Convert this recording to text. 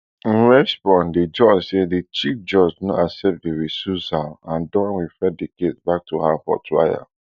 in response di judge say di chief judge no accept di recusal and don refer di case back to her for trial